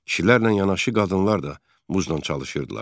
Kişilərlə yanaşı qadınlar da muzla çalışırdılar.